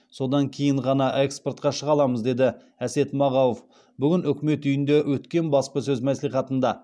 содан кейін ғана экспортқа шыға аламыз деді әсет мағауов бүгін үкімет үйінде өткен баспасөз мәслихатында